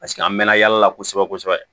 Paseke an mɛ na yala la kosɛbɛ kosɛbɛ